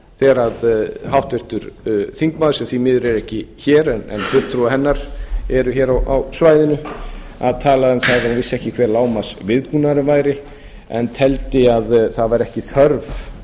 þegar háttvirtur þingmaður sem því miður er ekki hér en fulltrúar hennar eru hér á svæðinu tala um það að hún vissi ekki hver lágmarksviðbúnaðurinn væri en teldi að það væri ekki þörf